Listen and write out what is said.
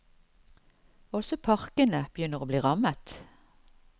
Også parkene begynner å bli rammet.